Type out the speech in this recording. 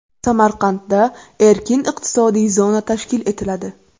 Samarqandda erkin iqtisodiy zona tashkil etiladi.